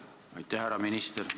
Härra minister!